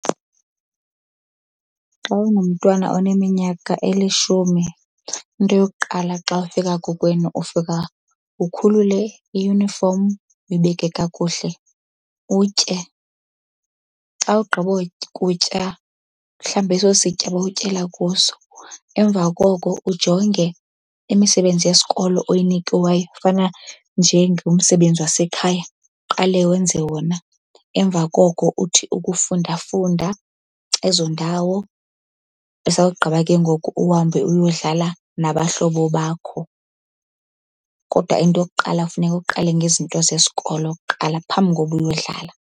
Xa unomntwana oneminyaka elishumi into yokuqala xa ufika kokwenu ufika ukhulule iyunifomu uyibeke kakuhle, utye. Xa ugqiba kutya uhlambe eso sitya bewutyela kuso. Emva koko ujonge imisebenzi yesikolo oyinikiweyo, kufana njengomsebenzi wasekhaya. Uqale wenze wona, emva koko uthi ukufundafunda ezo ndawo, esawugqiba ke ngoku uhambe uyodlala nabahlobo bakho. Kodwa into yokuqala funeka uqale ngezinto zesikolo kuqala phambi kokuba uyodlala.